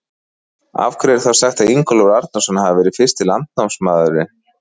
Af hverju er þá sagt að Ingólfur Arnarson hafi verið fyrsti landnámsmaðurinn?